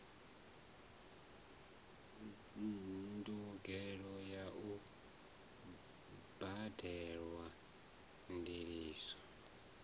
ndugelo ya u badelwa ndiliso